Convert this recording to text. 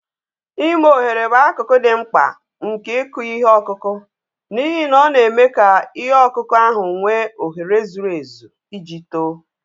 Ime ohere bụ akụkụ dị mkpa nke ịkụ ihe ọkụkụ, n'ihi na ọ na-eme ka ihe ọkụkụ ahụ nwee ohere zuru ezu iji too.